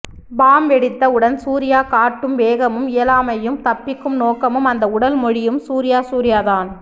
bomb வெடித்த உடன் சூர்யா காட்டும் வேகமும் இயலமையும் தப்பிக்கும் நோக்கமும் அந்த உடல் மொழியும் சூர்யா சூர்யாதான்